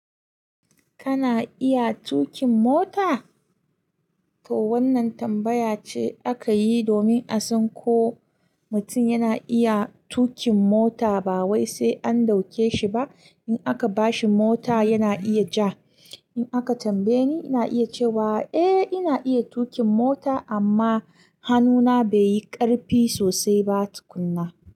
Kana iya tuƙin mota? To wannan tambaya ce aka yi domin a san ko mutum yana iya tuƙin mota ba wai sai an ɗauke shi ba. In aka ba shi mota yana iya ja. In aka tambaye ni, ina iya cewa eh ina iya tuƙin mota amma hannuna bai yi ƙarfi sosai ba tukunna.